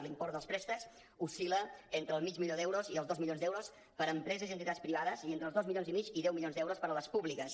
l’import dels préstec oscil·la entre el mig milió d’euros i els dos milions d’euros per a empreses i entitats privades i entre els dos milions i mig i deu milions d’euros per a les públiques